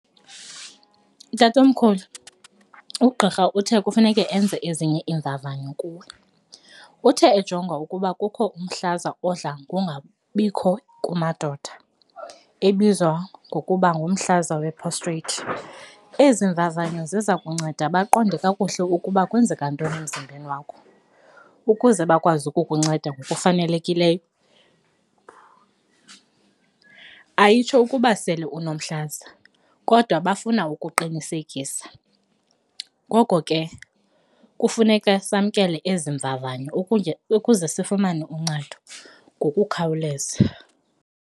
Tatomkhulu, ugqirha uthe kufuneke enze ezinye iimvavanyo kuwe, uthe ejonga ukuba kukho umhlaza odla kungabikho kumadoda ebizwa ngokuba ngumhlaza we-prostate. Ezi mvavanyo ziza kunceda baqonde kakuhle ukuba kwenzeka ntoni emzimbeni wakho ukuze bakwazi ukukunceda ngokufanelekileyo, ayitsho ukuba sele unomhlaza, kodwa bafuna ukuqinisekisa. Ngoko ke kufuneka samkele ezi mvavanyo ukuze sifumane uncedo ngokukhawuleza.